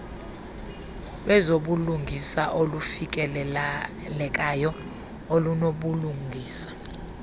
lwezobulungisa olufikelekayo olunobulungisa